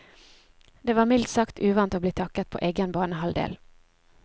Det var mildt sagt uvant å bli taklet på egen banehalvdel.